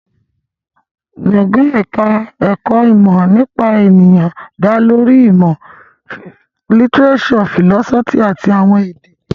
Gbọ̀ngàn ẹ̀ka ẹ̀kọ́ ìmọ̀ nípa ènìyàn dá lórí ìmọ̀ lítíréṣọ̀, fìlọ́sọ́fì àti àwọn èdè